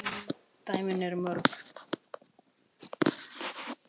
Dæmin eru mörg.